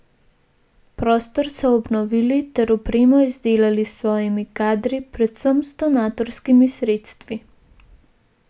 Prostor so obnovili ter opremo izdelali s svojimi kadri, predvsem z donatorskimi sredstvi.